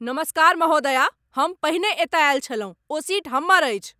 नमस्कार महोदया, हम पहिने एतय आयल छलहुँ। ओ सीट हमर अछि।